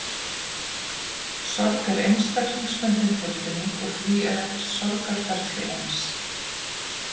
Sorg er einstaklingsbundin tilfinning og því er ekkert sorgarferli eins.